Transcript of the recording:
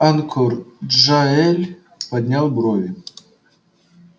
анкор джаэль поднял брови